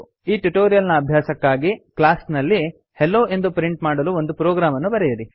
ಈ ಟ್ಯುಟೋರಿಯಲ್ ನ ಅಭ್ಯಾಸಕ್ಕಾಗಿ ಕ್ಲಾಸ್ ನಲ್ಲಿ ಹೆಲ್ಲೊ ಎಂದು ಪ್ರಿಂಟ್ ಮಾಡಲು ಒಂದು ಪ್ರೊಗ್ರಾಮ್ ಅನ್ನು ಬರೆಯಿರಿ